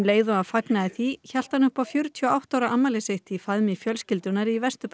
hélt hann upp á fjörutíu og átta ára afmæli sitt í faðmi fjölskyldunnar í Vesturbæ Reykjavíkur